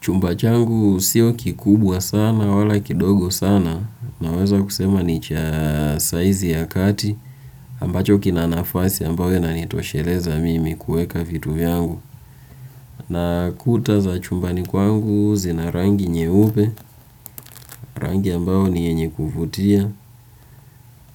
Chumba changu sio kikubwa sana wala kidogo sana naweza kusema ni cha saizi ya kati ambacho kina nafasi ambayo inanitosheleza mimi kuweka vitu vyangu na kuta za chumbani kwangu zina rangi nyeupe rangi ambayo ni yenye kuvutia